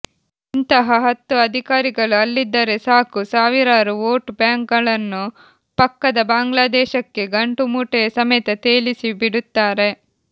ಇಂತಹ ಹತ್ತು ಅಧಿಕಾರಿಗಳು ಅಲ್ಲಿದ್ದರೆ ಸಾಕು ಸಾವಿರಾರು ವೋಟ್ ಬ್ಯಾಾಂಕ್ಗಳನ್ನು ಪಕ್ಕದ ಬಾಂಗ್ಲಾಾದೇಶಕ್ಕೆೆ ಗಂಟುಮೂಟೆಯ ಸಮೇತ ತೇಲಿಸಿ ಬಿಡುತ್ತಾಾರೆ